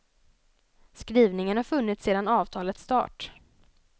Skrivningen har funnits sedan avtalets start.